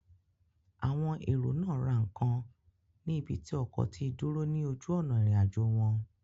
Àwọn èrò náà ra ǹkan ní ibi tí ọkọ̀ tí dúró ní ojú òná ìrìn àjò wọn